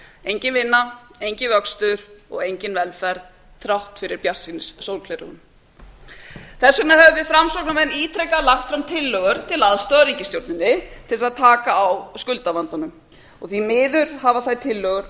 engin vinna enginn vöxtur og engin velferð þrátt fyrir bjartsýnissólgleraugun þess vegna höfum við framsóknarmenn ítrekað lagt fram tillögur til aðstoðar ríkisstjórninni til þess að taka á skuldavandanum því miður hafa þær tillögur